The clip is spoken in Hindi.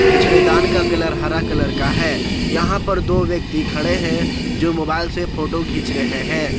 कचड़े दान का कलर हरा कलर का है यहां पर दो व्यक्ति खड़े हैं जो मोबाइल से फोटो घीच रहे हैं।